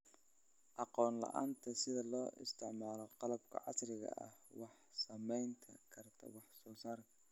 Aqoon la'aanta sida loo isticmaalo qalabka casriga ah waxay saameyn kartaa wax soo saarka.